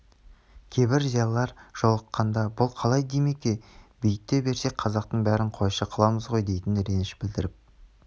кейбір зиялылар жолыққанда бұл қалай димеке бүйте берсек қазақтың бәрін қойшы қыламыз ғой дейтін реніш білдіріп